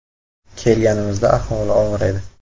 “Kelganimizda ahvoli og‘ir edi.